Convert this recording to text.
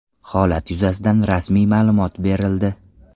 Holat yuzasidan rasmiy ma’lumot berildi.